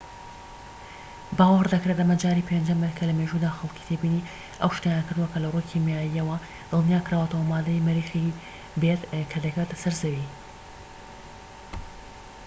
باوەڕ دەکرێت ئەمە جاری پێنجەم بێت لە مێژوودا کە خەڵکی تێبینی ئەو شتەیان کردووە کە لە ڕووی کیماییەوە دڵنیاكراوەتەوە ماددەی مەریخی بێت کە دەکەوێتە سەر زەوی